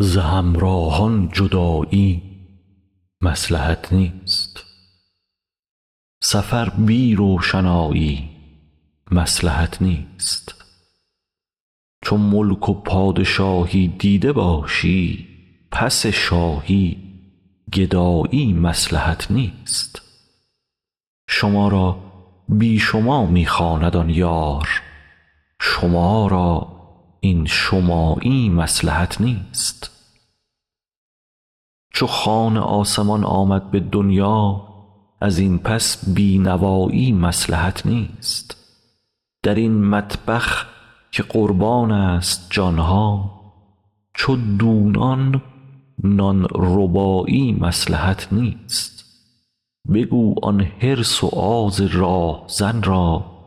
ز همراهان جدایی مصلحت نیست سفر بی روشنایی مصلحت نیست چو ملک و پادشاهی دیده باشی پس شاهی گدایی مصلحت نیست شما را بی شما می خواند آن یار شما را این شمایی مصلحت نیست چو خوان آسمان آمد به دنیا از این پس بی نوایی مصلحت نیست در این مطبخ که قربانست جان ها چو دونان نان ربایی مصلحت نیست بگو آن حرص و آز راه زن را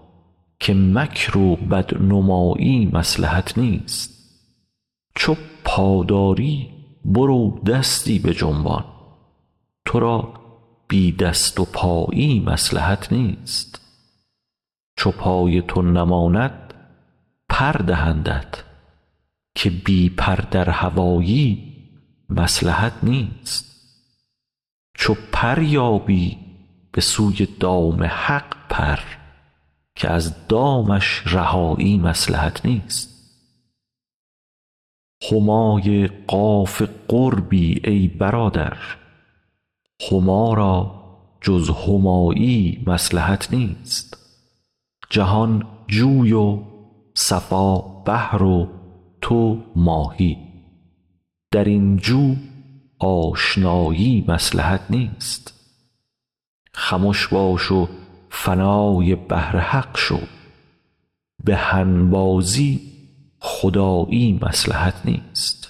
که مکر و بدنمایی مصلحت نیست چو پا داری برو دستی بجنبان تو را بی دست و پایی مصلحت نیست چو پای تو نماند پر دهندت که بی پر در هوایی مصلحت نیست چو پر یابی به سوی دام حق پر که از دامش رهایی مصلحت نیست همای قاف قربی ای برادر هما را جز همایی مصلحت نیست جهان جوی و صفا بحر و تو ماهی در این جو آشنایی مصلحت نیست خمش باش و فنای بحر حق شو به هنبازی خدایی مصلحت نیست